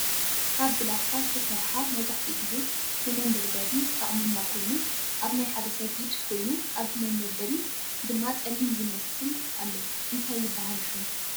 ካብ ብላካ ዝተሰረሓ መብዛሕቲኡ ግዜ ነመንበድበዲ ዝጠቅመና ኮይኑ ኣብ ናይ ሓደ ሰብ ኢድ ኮይኑ ኣብቲ መንበድበበዲ ድማ ፀሊም ዝመስል ኣሎ። እንታይ ይብሃል ሽሙ?